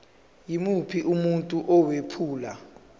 yimuphi umuntu owephula